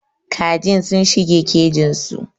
Kajin sun shige kejin su.